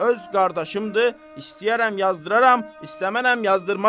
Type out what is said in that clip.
Öz qardaşımdır, istəyərəm yazdıraram, istəmərəm yazdırmaram.